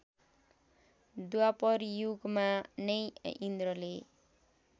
द्वापरयुगमा नै इन्द्रले